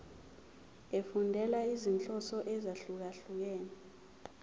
efundela izinhloso ezahlukehlukene